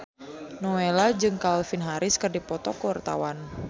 Nowela jeung Calvin Harris keur dipoto ku wartawan